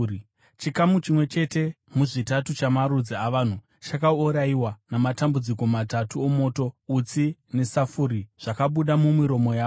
Chikamu chimwe chete muzvitatu chamarudzi avanhu chakaurayiwa namatambudziko matatu omoto, utsi nesafuri zvakabuda mumiromo yawo.